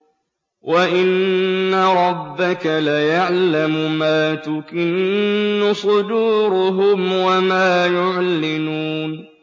وَإِنَّ رَبَّكَ لَيَعْلَمُ مَا تُكِنُّ صُدُورُهُمْ وَمَا يُعْلِنُونَ